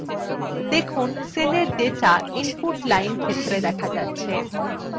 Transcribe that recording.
দেখুন সেলের data input line ক্ষেত্রে data যাচ্ছে